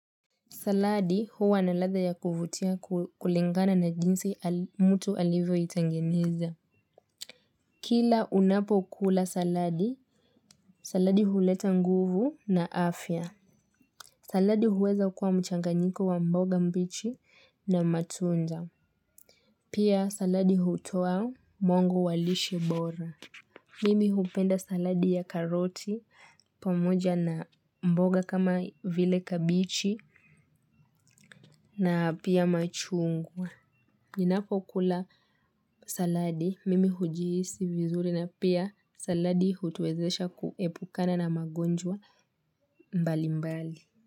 Saladi huwa na ladha ya kuvutia kulingana na jinsi mtu alivyo itengeneza. Kila unapokula saladi, saladi huleta nguvu na afya. Saladi huweza kuwa mchanganyiko wa mboga mbichi na matunda. Pia saladi hutoa mongo walishe bora. Mimi hupenda saladi ya karoti pamoja na mboga kama vile kabeji na pia machungwa. Ninapo kula saladi, mimi hujihisi vizuri na pia saladi hutuezesha kuepukana na magonjwa mbali mbali.